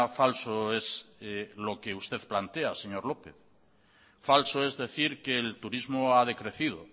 falso es lo que usted plantea señor lópez falso es decir que el turismo ha decrecido